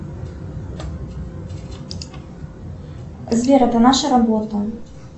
сбер это наша работа